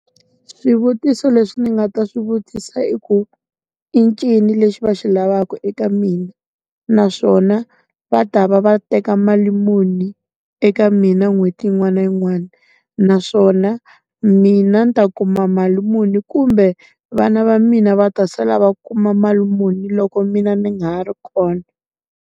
Swivutiso leswi ndzi nga ta swi vutisa i ku, i ncini lexi va xi lavaka eka mina? Naswona, va ta va va teka mali muni eka mina na n'hweti yin'wana na yin'wana? Naswona, mina ndzi ta kuma mali muni kumbe vana va mina va ta sala va kuma mali muni loko mina ndzi nga ha ri kona?